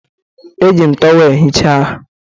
Eji m tọweelụ hichaa ahụ